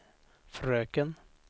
fröken